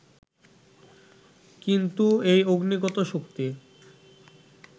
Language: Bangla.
কিন্তু এই অগ্নিগত শক্তি